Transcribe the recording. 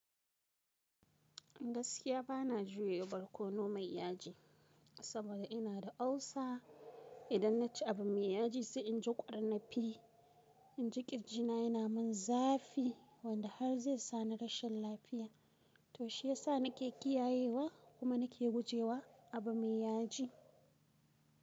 Gaskiya bana jiyo barkono mai yaji, saboda ina da ulcer. Idan naci abu mai yaji sai inji kwar nafii. Inji kirji na yana mun zafi wanda har zai sa ni rashin lafiya. To shi yasa nake kiyayewa kuma nake gujewa abu mai yaji.